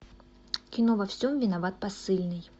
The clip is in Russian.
кино во всем виноват посыльный